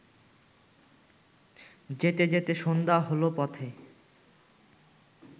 যেতে যেতে সন্ধ্যা হলো পথে